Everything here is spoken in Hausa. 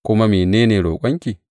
Kuma mene ne roƙonki?